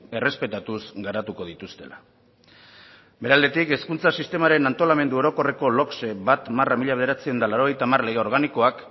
errespetatuz garatuko dituztela bere aldetik hezkuntza sistemaren antolamendu orokorreko logse bat barra mila bederatziehun eta laurogeita hamar lege organikoak